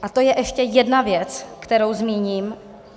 A to je ještě jedna věc, kterou zmíním.